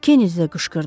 Kenedi də qışqırdı.